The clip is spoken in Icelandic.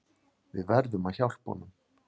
Við verðum hjálpa honum.